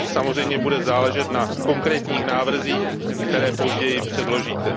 Samozřejmě bude záležet na konkrétních návrzích, které později předložíte.